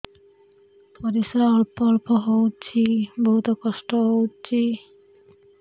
ପରିଶ୍ରା ଅଳ୍ପ ଅଳ୍ପ ହଉଚି ବହୁତ କଷ୍ଟ ହଉଚି